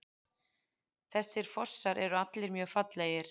Þessir fossar eru allir mjög fallegir.